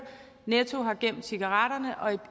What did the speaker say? netto har gemt cigaretterne og